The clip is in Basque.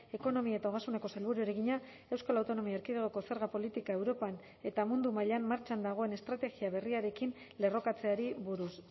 ekonomia eta ogasuneko sailburuari egina euskal autonomia erkidegoko zerga politika europan eta mundu mailan martxan dagoen estrategia berriarekin lerrokatzeari buruz